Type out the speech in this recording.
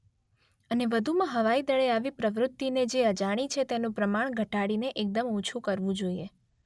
અને વધુમાં હવાઇદળે આવી પ્રવૃતિને જે અજાણી છે તેનું પ્રમાણ ધટાડીને એકદમ ઓછું કરવું જોઇએ.